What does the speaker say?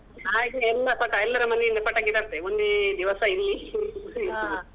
ಹಾಗೆ ಎಲ್ಲ ಪಟಾ~ ಎಲ್ಲರ ಮನೆ ಇಂದ ಪಟಾಕಿ ತರ್ತೇವೆ ಒಂದೇ ದಿವಸ ಇಲ್ಲಿ .